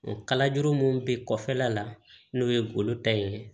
Kalajuru mun bɛ kɔfɛla la n'o ye golo ta ye